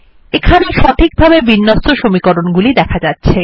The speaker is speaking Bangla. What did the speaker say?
এখানে সঠিকভাবে বিন্যস্ত সমীকরণ গুলি দেখা যাচ্ছে